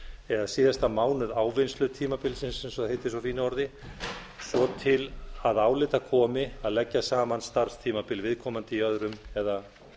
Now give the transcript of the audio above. eða síðasta mánuð ávinnslutímabilsins eins og það heitir á fínu orði svo til að álita komi að leggja mun starfstímabil viðkomandi í